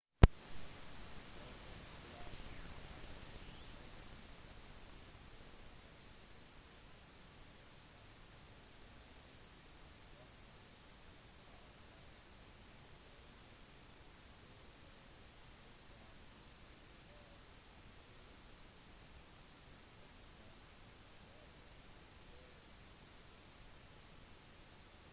lovforslaget sier at voldelige dataspill solgt i delstaten california skal merkes med «18» og salg til en mindreårig skal være straffbart med en bot på 1000 dollar per krenkelse